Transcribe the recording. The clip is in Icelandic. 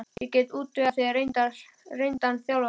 Ég get útvegað þér reyndan þjálfara.